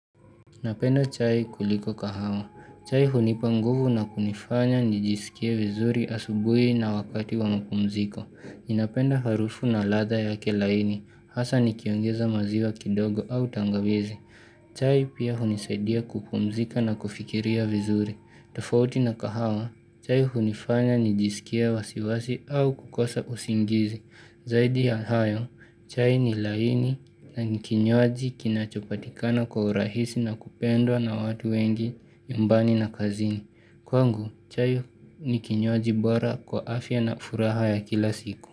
Napenda chai kuliko kahawa. Chai hunipa nguvu na kunifanya nijisikie vizuri asubuhi na wakati wa mapumziko. Ninapenda harufu na ladha yake laini, hasa nikiongeza maziwa kidogo au tangawizi. Chai pia hunisaidia kupumzika na kufikiria vizuri. Tofauti na kahawa, chai hunifanya nijisikie wasiwasi au kukosa usingizi. Zaidi ya hayo, chai ni laini nani kinyuaji kinachopatikana kwa urahisi na kupendwa na watu wengi nyumbani na kazini. Kwangu, chai ni kinyuaji bora kwa afya na furaha ya kila siku.